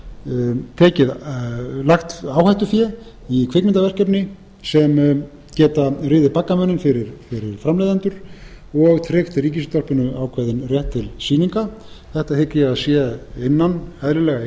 ef það vill lagt áhættufé í kvikmyndaverkefni sem geta riðið baggamuninn fyrir framleiðendur og tryggt ríkisútvarpinu ákveðinn rétt til sýninga þetta hygg ég að sé eðlilega